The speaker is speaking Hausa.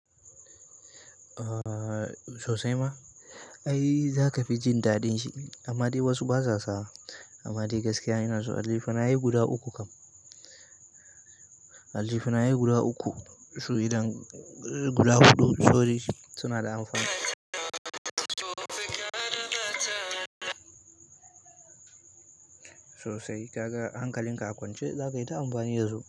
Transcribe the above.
Sosai ma, ai za ka fi jin daɗin shi amma dai wasu ba sa sawa. Amma dai gaskiya ina son aljihu na yi guda uku kam. Aljihu na yi guda uku, su idan guda huɗu to dai suna da amfani. Sosai kaga hankalin ka a kwance za ka yi ta amfani da su.